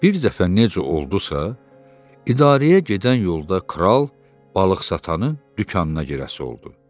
Bir dəfə necə oldusa, idarəyə gedən yolda kral balıqsatanın dükanına girəsi oldu.